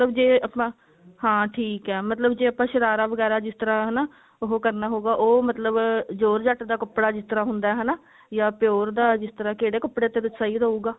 ਮਤਲਬ ਜੇ ਆਪਾਂ ਹਾਂ ਠੀਕ ਹੈ ਮਤਲਬ ਜੇ ਆਪਾਂ ਸ਼ਰਾਰਾ ਵਗੇਰਾ ਜਿਸ ਤਰ੍ਹਾਂ ਉਹ ਕਰਨਾ ਹੋਊਗਾ ਉਹ ਮਤਲਬ georgette ਦਾ ਕੱਪੜਾ ਜਿਸ ਤਰ੍ਹਾਂ ਹੁੰਦਾ ਹਨਾ ਜਾ pure ਦਾ ਜਿਸ ਤਰ੍ਹਾ ਕਿਹੜੇ ਕੱਪੜੇ ਤੇ ਫਿਰ ਸਹੀ ਰਹੇਗਾ